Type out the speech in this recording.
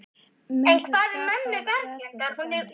Mun það skapa verðbólgu til dæmis?